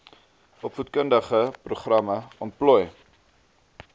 opvoedkundige programme ontplooi